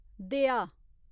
दया